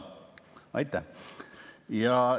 Aitäh!